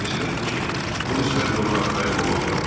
Hersoq dedi ki, bu məsələdə ona arxayın olmaq olar.